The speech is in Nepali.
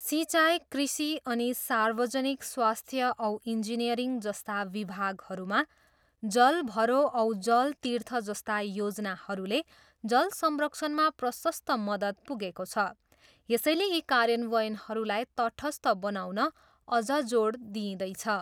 सिँचाइ, कृषि अनि सार्वजनिक स्वास्थ्य औ इन्जिनियरिङ जस्ता विभागहरूमा जल भरो औ जल तिर्थ जस्ता योजनाहरूले जल संरक्षणमा प्रसस्त मदद पुगको छ, यसैले यी कार्यन्वयनहरूलाई तटस्थ बनाउन अझ जोड दिँइदैछ।